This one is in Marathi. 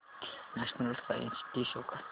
नॅशनल सायन्स डे शो कर